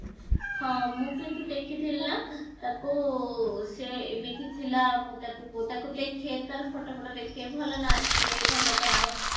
ହଁ ମୁଁ କିନ୍ତୁ ଦେଖିଥିଲି ନା ତାକୁ ସିଏ ଏମିତି ଥିଲା ମୁଁ ତାକୁ ମୁଁ ତାକୁ ଦେଖେ ତାର photo photo ଦେଖେ ଭଲ ନାଚେ ଭଲ ଗାଏ